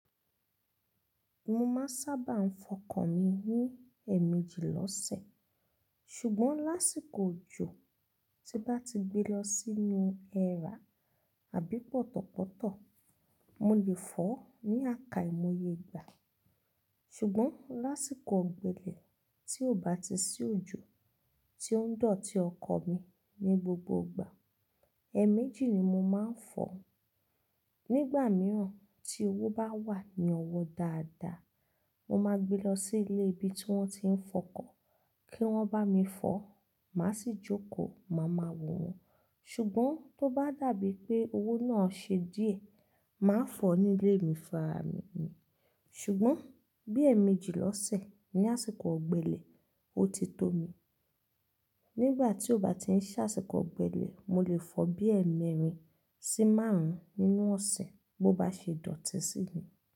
Mo máa ń sábà fọkàn mi ní ẹ̀ẹ̀mejì lọ́sẹ̀. Ṣùgbọ́n lásìkò òjò, tí bá ti gbé lọ sínú ẹ́rà àbí pọ̀tọ̀pọ̀tọ̀, mo lè fọ̀ ọ́ ní àká ìmo iye gba. Ṣùgbọ́n lásìkò ọ̀gbẹlẹ̀ tí ó bá ti sí òjò tí ó ń dọ̀tí ọkọ̀ mi ní gbogbo ìgbà, ẹ̀ẹ̀mejì ni mo máa ń fọ̀ ọ́. Ṣùgbọ́n lásìkò òjò, tí bá ti gbé lọ sínú ẹ́rà àbí pọ̀tọ̀pọ̀tọ̀, mo lè fọ̀ ọ́ ní àká ìmo iye gba. Ṣùgbọ́n tó bá dàbí pé owó náà ṣe díẹ̀, màá fọ̀ ọ́ nílé mi funrami ní. Ṣùgbọ́n bí ẹ̀ẹ̀mejì lọ́sẹ̀ ní àsìkò ọ̀gbẹlẹ̀, ó ti tó mi. Nígbà tí ó bá ti ń ṣàsìkò ọ̀gbẹlẹ̀, mo lè fọ̀ bí ẹ́ẹ̀mẹ́rin sí márùn-ún nínú ọ̀sẹ̀ bó bá ṣe dọ̀tí sí mi.